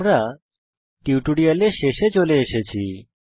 আমরা টিউটোরিয়ালের শেষে চলে এসেছি